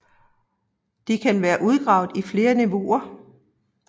De kan være udgravet i flere niveauer